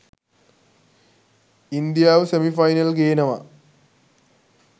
ඉන්දියාව semifinal ගේනවා.